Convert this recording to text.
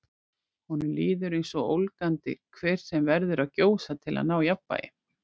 Honum líður eins og ólgandi hver sem verður að gjósa til að ná jafnvægi.